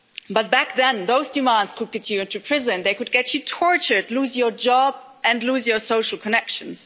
But back then, those demands could get you into prison, they could get you tortured, lose your job and lose your social connections.